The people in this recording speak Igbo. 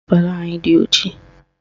Prịnsịpalụ anyị dị ojii